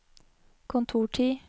kontortid